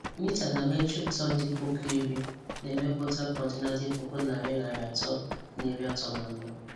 Mita na metrik tọn dị puku iri na-emepụta kọntena dị puku nari nari atọ na iri atọ na anọ.